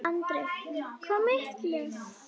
Andri: Hvað miklum?